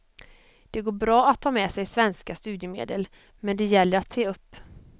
Det går bra att ta med sig svenska studiemedel, men det gäller att se upp.